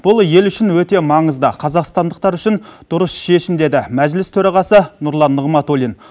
бұл ел үшін өте маңызды қазақстандықтар үшін дұрыс шешім деді мәжіліс төрағасы нұрлан нығматулин